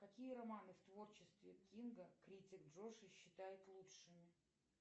какие романы в творчестве кинга критик джоши считает лучшими